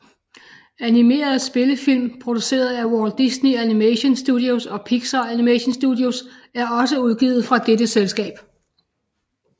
Animerede spillefilm produceret af Walt Disney Animation Studios og Pixar Animation Studios er også udgivet fra dette selskab